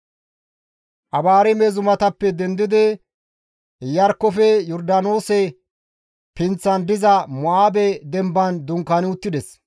Abaarime zumatappe dendidi Iyarkkofe Yordaanoose pinththan diza Mo7aabe demban dunkaani uttides.